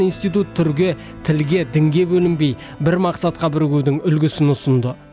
институт түрге тілге дінге бөлінбей бір мақсатқа бірігудің үлгісін ұсынды